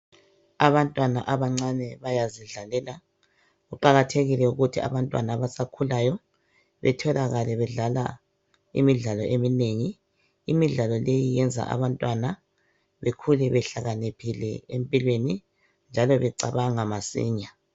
Abantwana abancane bayazidlalela kuqakathekile ukuthi abantwana abasakhulayo betholakale bedlala imidlalo eminengi. Imidlalo leyi iyenza abantwana bekhule behlakaniphile empilweni njalo becabanga masinya.